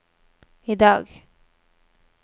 idag